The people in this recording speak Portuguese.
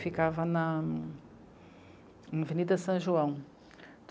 Ficava na, na Avenida São João.